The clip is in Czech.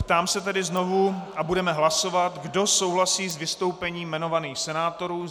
Ptám se tedy znovu a budeme hlasovat, kdo souhlasí s vystoupením jmenovaných senátorů.